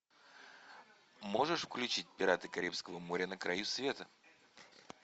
можешь включить пираты карибского моря на краю света